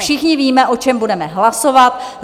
Všichni víme, o čem budeme hlasovat.